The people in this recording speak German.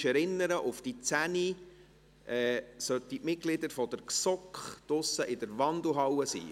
Ich erinnere noch einmal daran, dass die Mitglieder der GSoK um 10 Uhr draussen in der Wandelhalle sein müssen: